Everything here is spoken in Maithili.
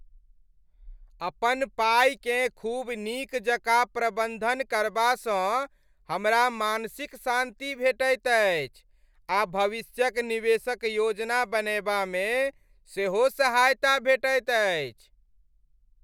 अपन पाइकेँ खूब नीक जकाँ प्रबन्धन करबासँ हमरा मानसिक शान्ति भेटैत अछि आ भविष्यक निवेशक योजना बनयबामे सेहो सहायता भेटैत अछि।